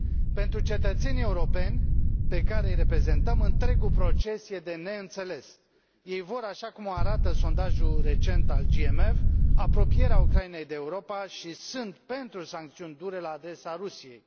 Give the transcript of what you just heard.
Pentru cetățenii europeni pe care îi reprezentăm, întregul proces e de neînțeles. Ei vor, așa cum o arată sondajul recent al GMF, apropierea Ucrainei de Europa și sunt pentru sancțiuni dure la adresa Rusiei.